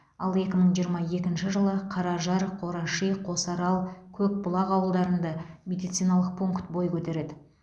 ал екі мың жиырма екінші жылы қаражар қораши қосарал көкбұлақ ауылдарында медициналық пункт бой көтереді